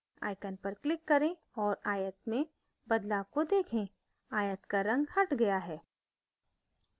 icon पर click करें औऱ आयत में बदलाव को देखें आयत का रंग हट गया है